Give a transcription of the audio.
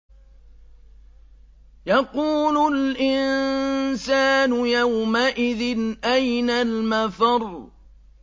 يَقُولُ الْإِنسَانُ يَوْمَئِذٍ أَيْنَ الْمَفَرُّ